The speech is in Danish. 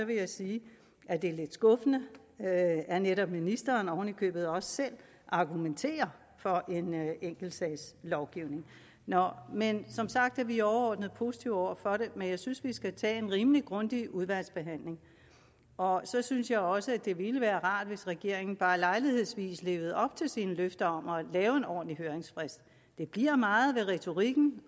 jeg sige at det er lidt skuffende at at netop ministeren oven i købet også selv argumenterer for en enkeltsagslovgivning nå men som sagt er vi overordnet positive over for det men jeg synes vi skal tage en rimelig grundig udvalgsbehandling og så synes jeg også at det ville være rart hvis regeringen bare lejlighedsvis levede op til sine løfter om at lave en ordentlig høringsfrist det bliver meget ved retorikken